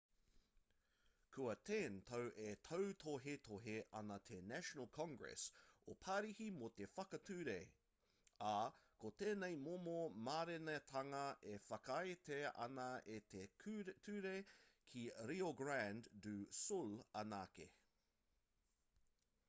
kua 10 tau e tautohetohe ana te national congress o parihi mō te whakature ā ko tēnei momo mārenatanga e whakaaetia ana e te ture ki rio grande do sul anake